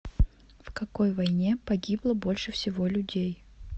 в какой войне погибло больше всего людей